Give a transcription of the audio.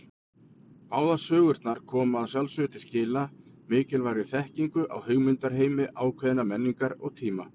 Báðar sögurnar koma að sjálfsögðu til skila mikilvægri þekkingu á hugmyndaheimi ákveðinnar menningar og tíma.